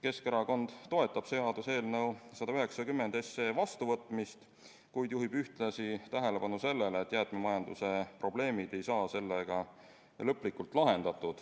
Keskerakond toetab seaduseelnõu 190 vastuvõtmist, kuid juhib ühtlasi tähelepanu sellele, et jäätmemajanduse probleemid ei saa sellega lõplikult lahendatud.